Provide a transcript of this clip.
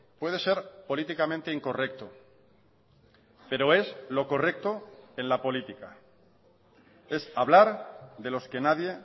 puede ser políticamente incorrecto pero es lo correcto en la política es hablar de los que nadie